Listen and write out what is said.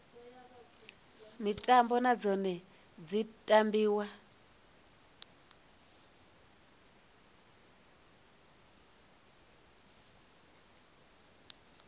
mitambo na dzone dzi tambiwa